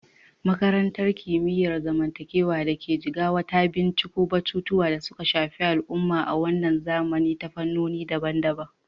Makarantar Kimiyyar Zamantakewa da ke Jigawa ta binciko batutuwan da suka shafi al'umma a wannan zamani ta fannoni daban-daban.